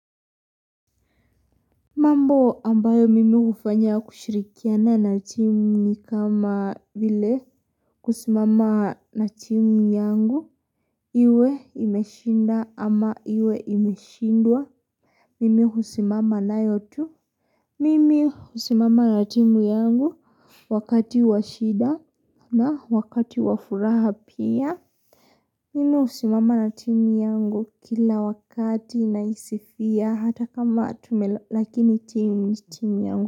Mambo ambayo mimi hufanya kushirikiana na timu ni kama vile kusimama na timu yangu iwe imeshinda ama iwe imeshindwa Mimi husimama nayo tu Mimi husimama na timu yangu wakati wa shida na wakati wa furaha pia Mimi husimama na timu yangu kila wakati naisifia hata kama tumelo lakini timu yangu.